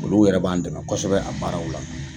Olu yɛrɛ b'an dɛmɛ kosɛbɛ a baaraw la.